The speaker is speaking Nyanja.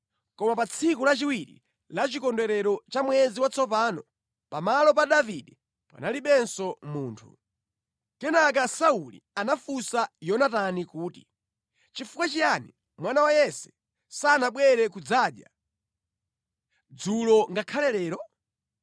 Koma pa tsiku lachiwiri la chikondwerero cha mwezi watsopano pamalo pa Davide panalibenso munthu. Kenaka Sauli anafunsa Yonatani kuti, “Nʼchifukwa chiyani mwana wa Yese sanabwere kudzadya, dzulo ngakhale lero?”